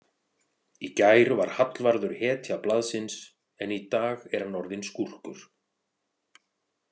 Í gær var Hallvarður hetja blaðsins en í dag er hann orðinn skúrkur.